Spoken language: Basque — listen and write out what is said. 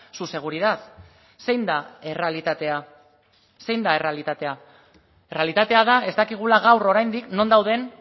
su seguridad zein da errealitatea zein da errealitatea errealitatea da ez dakigula gaur oraindik non dauden